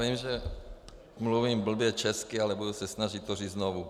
Vím, že mluvím blbě česky, ale budu se snažit to říct znovu.